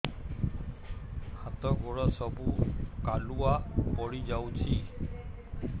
ହାତ ଗୋଡ ସବୁ କାଲୁଆ ପଡି ଯାଉଛି